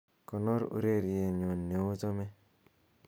konor ureryenyun neochome